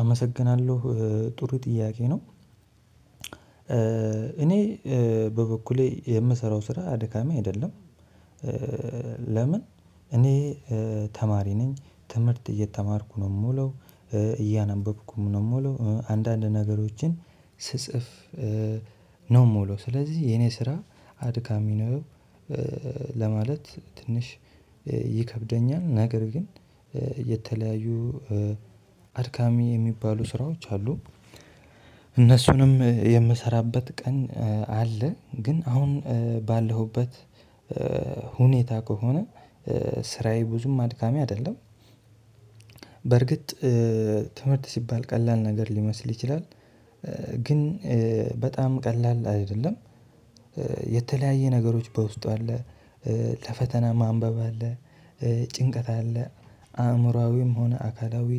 አመሰግናለሁ ጥሩ ጥያቄ ነው። እኔ በበኩሌ የምሰራው ስራ አድካሚ አይደለም። ለምን? እኔ ተማሪ ነኝ ትምህርት እየተማርኩ ነው የምውለው እያነበብኩም ነው የምውለው አንዳንድ ነገሮችን ስጽፍ ነው የምውለው ስለዚህ የኔ ስራ አድካሚ ነው። ለማለት ትንሽ ይከብደኛል። ነገር ግን የተለያዩ አድካሚ የሚባሉ ስራዎች አሉ። እነሱንም የምሰራበት ቀን አለ ግን አሁን ባለሁበት ሁኔታ ከሆነ ስራየ ብዙም አድካሚ አይደለም። በርግጥ ትምህርት ሲባል ቀላል ነገር ሊመስል ይችላል። ግን በጣም ቀላል አይደለም። የተለያየ ነገሮች በውስጡ አለ ለፈተና ማንበብ አለ ጭንቀት አለ አእምሮአዊም ሆነ አካላዊ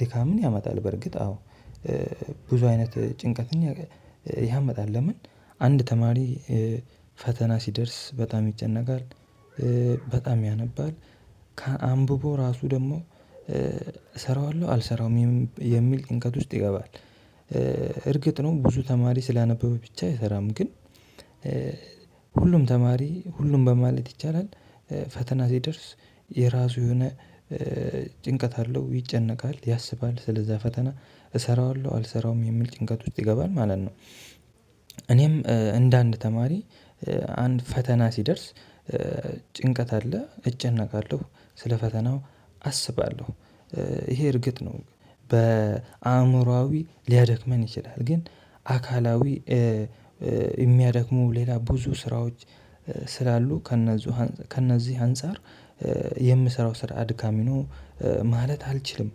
ድካምን ያመጣል። በርግጥ አዎ። ብዙ አይነት ጭንቀትን ያመጣል ለምን አንድ ተማሪ ፈተና ሲደርስ በጣም ይጨነቃል። በጣም ያነባል አንብቦ ራሱ ደግሞ እሰራዋለሁ አልሰራውም የሚል ጭንቀት ውስጥ ይገባል። እርግጥ ነው ብዙ ተማሪ ስላነበበ ብቻ አይሰራም ግን ሁሉም ተማሪ ሁሉም በማለት ይቻላል። ፈተና ሲደርስ የራሱ የሆነ ጭንቀት አለው ይጨነቃል ያስባል ስለዛ ፈተና እሰራዋለሁ አልሰራዉም የሚል ጭንቀት ውስጥ ይገባል ማለት ነው። እኔም እንደ አንድ ተማሪ አንድ ፈተና ሲደርስ ጭንቀት አለ እጨነቃለሁ ስለ ፈተናው አስባለሁ ይሄ እርግጥ ነው። በአእምሮአዊ ሊያደክመን ይችላል ግን አካላዊ የሚያደክሙ ሌላ ብዙ ስራዎች ስላሉ ከእነዚህ ከእነዚህ አንፃር የምሰራው ስራ አድካሚ ነው ማለት አልችልም።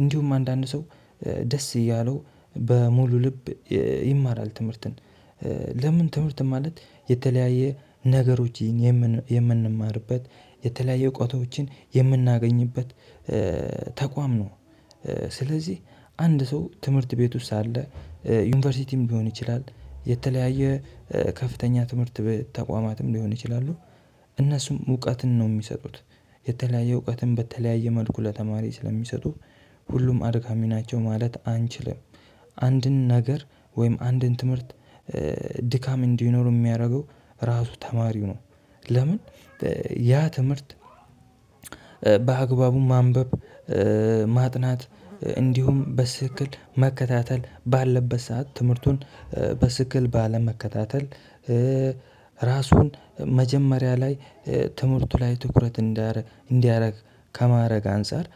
እንዲሁም አንዳንድ ሰው ደስ እያለው በሙሉ ልብ ይማራል ትምህርትን። ለምን? ትምህርት ማለት የተለያየ ነገሮች የምንማርበት የተለያየ እውቀቶችን የምናገኝበት ተቋም ነው። ስለዚህ አንድ ሰው ትምህርት ቤት ውስጥ አለ ዩኒቨርሲቲም ሊሆን ይችላል የተለያየ ከፍተኛ ትምህርት ተቋማትም ሊሆን ይችላሉ እነሱም እውቀትን ነው የሚሰጡት የተለያየ እውቀትን በተለያየ መልኩ ለተማሪ ስለሚሰጡ ሁሉም አድካሚ ናቸው ማለት አንችልም። አንድን ነገር ወይም አንድን ትምህርት ድካም እንዲኖረው የሚያደርገው ራሱ ተማሪው ነው። ለምን? ያ ትምህርት በአግባቡ ማንበብ ማጥናት እንዲሁም በስትክክል መከታተል ባለበት ሰዓት ትምህርቱን በስትክክል ባለመከታተል ራሱን መጀመሪያ ላይ ትምህርቱ ላይ ትኩረት እንዲያደርግ ከማረግ አንፃር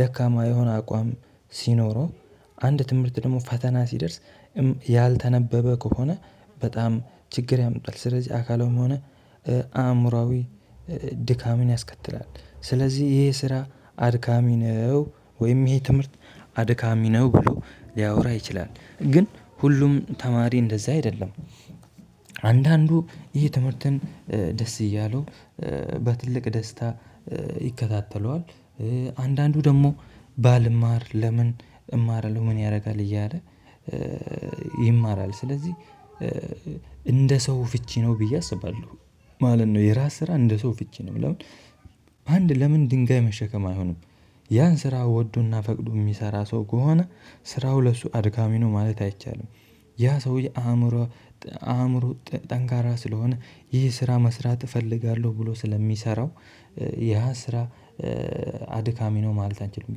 ደካማ የሆነ አቋም ሲኖረው አንድ ትምህርት ደግሞ ፈተና ሲደርስ ያልተነበበ ከሆነ በጣም ችግር ያምጣል። ስለዚህ አካላዊም ሆነ አእምሮአዊ ድካምን ያስከትላል። ስለዚህ ይሄ ስራ አድካሚ ነው ወይም ይሄ ትምህርት አድካሚ ነው ብሎ ሊያወራ ይችላል። ግን ሁሉም ተማሪ እንደዛ አይደለም። አንዳንዱ ይሄ ትምህርትን ደስ እያለው በትልቅ ደስታ ይከታተለዋል። አንዳንዱ ደግሞ ባልማር ለምን እማራለሁ ምን ያደርጋል እያለ። ይማራል ስለዚህ እንደ ሰው ፍች ነው ብየ አስባለሁ። ማለት ነው የራስ ስራ እንደ ሰው ፍች ነው። አንድ ለምን ድንጋይ መሸከም አይሆንም። ያን ስራ ወዶና ፈቅዶ የሚሰራ ሰው ከሆነ ስራው ለሱ አድካሚ ነው ማለት አይቻልም። ያ ሰውዬ አእምሮ አእምሮ ጠንካራ ስለሆነ ይህ ስራ መስራት እፈልጋለሁ ብሎ ስለሚሰራው ያ ስራ አድካሚ ነው ማለት አንችልም።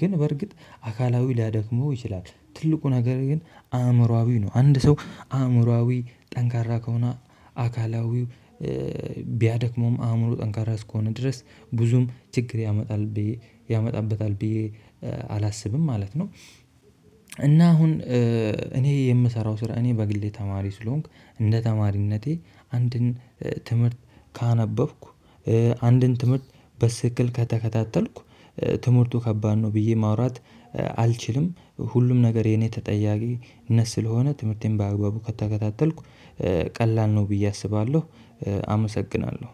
ግን በርግጥ አካላዊ ሊያደክመው ይችላል ትልቁ ነገር ግን አእምሮአዊ ነው አንድ ሰው አእምሮአዊ ጠንካራ ከሆነ አካላዊው ቢያደክመውም አእምሮ ጠንካራ እስከሆነ ድረስ ብዙም ችግር ያመጣል ብዬ ያመጣበታል ብዬ አላስብም ማለት ነው። እና አሁን እኔ የምሰራው ስራ እኔ በግሌ ተማሪ ስሆንክ እንደ ተማሪነቴ አንድን ትምህርት ካነበብኩ አንድን ትምህርት በስትክክል ከተከታተልኩ ትምህርቱ ከባድ ነው ብዬ ማውራት አልችልም። ሁሉም ነገር የኔ ተጠያቂነት ስለሆነ ትምህርቴን በአግባቡ ከተከታተልኩ ቀላል ነው ብዬ አስባለሁ። አመሰግናለሁ